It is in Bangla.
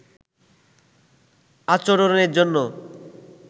আচরণের জন্য